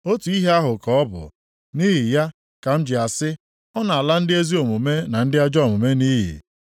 Otu ihe ahụ ka ọ bụ; nʼihi ya ka m ji asị, ‘Ọ na-ala ndị ezi omume na ndị ajọ omume nʼiyi.’